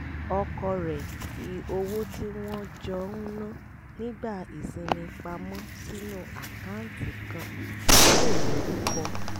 ọkọ rẹ̀ fi owó tí wọ́n jọ ń ná nígbà ìsinmi pa mọ́ sínú àkáǹtì kan tí kò lorúkọ